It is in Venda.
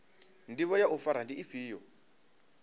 ndivho ya u fara ndi ifhio